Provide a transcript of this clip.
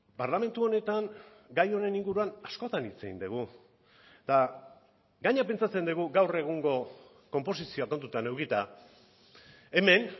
parlamentu honetan gai honen inguruan askotan hitz egin dugu eta gainera pentsatzen dugu gaur egungo konposizioa kontutan edukita hemen